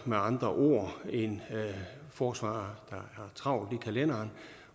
med andre ord en forsvarer der har travlt i kalenderen